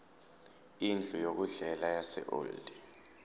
indlu yokudlela yaseold